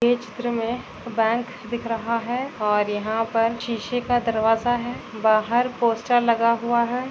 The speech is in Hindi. ये चित्र में बैंक दिख रहा हैं और यहाँ पर शिशे का दरवाजा हैं बाहर पोस्टर लगा हुआ हैं।